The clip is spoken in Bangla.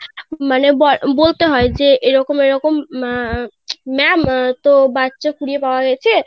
মানে ব~ বলতে হয় যে এরকম এরকম উম ma'am তো বাচ্চা কুড়িয়ে পাওয়া গিয়েছে,